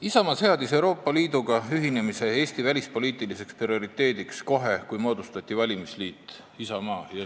Isamaa seadis Euroopa Liiduga ühinemise Eesti välispoliitiliseks prioriteediks kohe, kui moodustati valimisliit Isamaa.